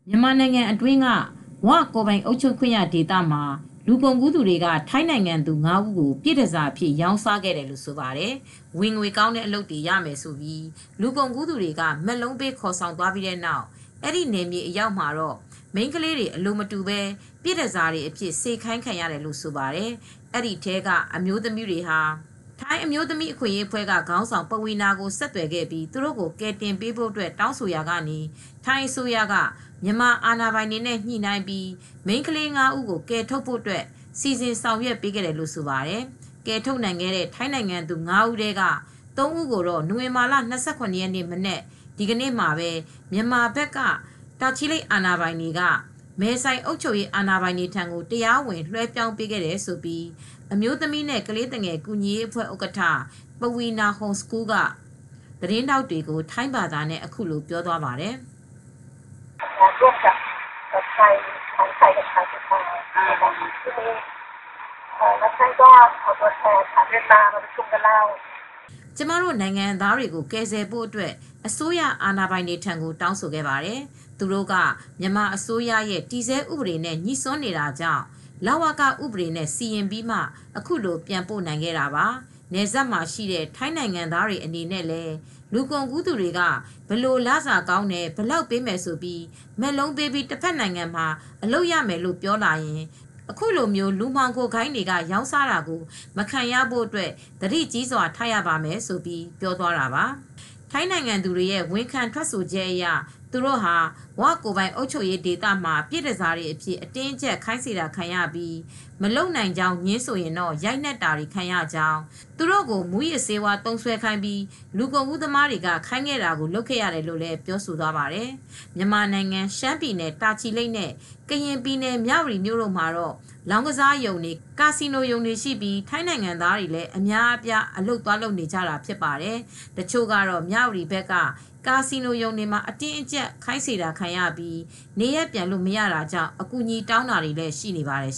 မြန်မာနိုင်ငံအတွင်းက "ဝ" ကိုယ်ပိုင်အုပ်ချုပ်ခွင့်ရဒေသမှာ လူကုန်ကူးသူတွေက ထိုင်းနိုင်ငံသူ ၅ဦးကို ပြည့်တန်ဆာအဖြစ် ရောင်းစာခဲ့တယ်လို့ဆိုပါတယ်။ ဝင်ငွေကောင်းတဲ့အလုပ်တွေ လုပ်ရမယ်လို့ လူကုန်ကူးသူတွေက မက်လုံးပေး ခေါ်ဆောင်သွားပြီး အဲဒီနယ်မြေအရောက်မှာတော့ မိန်းခလေးတွေ အလိုမတူပဲ ပြည့်တန်ဆာတွေအဖြစ် စေခိုင်းခံရတယ်လို့ဆိုပါတယ် ။ ဒီထဲက အမျိုသမီးတွေဟာ ထိုင်းအမျိုးသမီး အခွင့်အရေးအဖွဲ့ က ခေါင်းဆောင် "ပဝီနာ" ကို ဆက်သွယ်ပြီး သူတို့ကို ကယ်တင်ပေးဖို့တောင်းဆိုခဲ့ရာက ထိုင်းအစိုးရက မြန်မာအာဏာပိုင်တွေနဲ့ ညှိနှိုင်းပြီး မိန်းခလေး ၅ ဦးကို ကယ်ထုတ်ဖို့ စီစဉ်ဆောင်ရွက် ပေးခဲ့တယ်လို့ ဆိုပါတယ်။ ကယ်ထုတ်နိုင်ခဲ့တဲ့ ထိုင်းနိုင်ငံသူ ၅ ဦးထဲက ၃ ဦးကိုတော့ နိုဝင်ဘာလ၂၇ ရက်နေ့ မနက်မှာ မြန်မာဘက် တာချီလိတ်မြို့နယ် အာဏာပိုင်တွေက မဲဆိုင် အုပ်ချုပ်ရေး အာဏာပိုင်တွေထံကို တရားဝင် လွဲှပြောင်းပေးခဲ့တယ်လို့ အမျိုးသမီးနဲ့ ကလေးသူငယ်ကူညီရေးအဖွဲ့ ဥက္ကဌ "ပဝီနာ ဟုန်စကူးလ် " က သတင်းထောက်တွေကို ထိုင်းဘာသာနဲ့ အခုလို ပြောသွားပါတယ်။ " ကျမတို့ နိုင်ငံသားတွေကို ကယ်ဆယ်ဖို့ အတွက် အစိုးရ အာဏာပိုင်တွေထံကို တောင်းဆိုခဲ့ပါတယ် ။ သူတို့က မြန်မာအစိုးရရဲ့ တည်ဆဲဥပဒေနဲ့ ငြိစွန်းနေတာကြောင့် လဝက ဥပဒေနဲ့ စီရင်ပြီးမှ အခုလိုပြန်ပို့နိုင်ခဲ့တာပါ" နယ်စပ်မှာရှိတဲ့ ထိုင်းနိုင်ငံသားတွေအနေနဲ့ လူကုန်ကူးသူတွေက ဘယ်လို လစာကောင်းတယ်၊ ဘယ်လောက်ပေးမယ်ဆိုပြီး မက်လုံးပေးပြီး တဘက်နိုင်ငံမှာ အလုပ်ရမယ်လို့ ပြောလာရင် အခုလို လူမှောင်ခိုဂိုဏ်းတွေက ရောင်းစားတာကို မခံရဖို့ သတိကြီးစွ ာထားရပါမယ်ဆိုပြီး ပြောသွားတာပါ ။ ထိုင်းနိုင်ငံသူတွေရဲ့ ဝန်ခံ ထွက်ဆိုချက်အရ သူတို့ဟာ " ဝ" ကိုယ်ပိုင်အုပ်ချုပ်ခွင့်ရဒေသမှာ ပြည့်တန်ဆာအဖြစ် အတင်းအကြပ် ခိုင်းစေတာခံရပြီး မလုပ်နိုင်ကြောင်း ငြင်းဆိုရင် ရိုက်နှက်တာတွေခံရကြောင်း သူတို့ကို မူးယစ်ဆေးဝါးသုံးစွဲခိုင်းပြီး လူကုန်ကူးသမားတွေ ခိုင်းတာကို လုပ်ခဲ့ရတယ်လို့ ပြောဆိုသွားပါတယ်။ မြန်မာနိုင်ငံ ရှမ်းပြည်နယ် တာချီလိတ်မြို့ နဲ့ ကရင်ပြည်နယ် မြဝတီမြို့ တို့မှာတော့ လောင်းကစားရုံတွေ ကာစီနိုရုံတွေရှိပြီး ထိုင်းနိုင်ငံသားတွေ လည်း အများအပြား အလုပ်သွားလုပ်နေကြတာဖြစ်ပါတယ် ။ တချို့ကတော့ မြဝတီဘက်က ကာစီနိုရုံတွေမှာ အတင်းအကြပ် စေခိုင်းခံရနေရပြီး နေရပ်ပြန်လို့ မရတာကြောင့် အကူညီတောင်းတာတွေလည်း ရှိနေပါတယ်